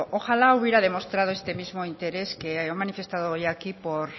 arbulo ojalá hubiera demostrado este mismo interés que ha manifestado hoy aquí por